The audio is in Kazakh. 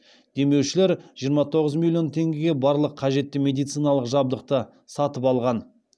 демеушілер жиырма тоғыз миллион теңгеге барлық қажетті медициналық жабдықты сатып алған